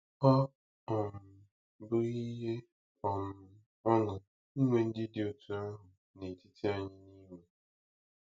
Ọ́ um bụghị ihe um ọṅụ inwe ndị dị otú ahụ n’etiti anyị n’Imo?